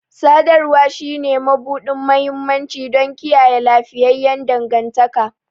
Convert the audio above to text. Sadarwa shine mabuɗin mahimmanci don kiyaye lafiyayyen dangantaka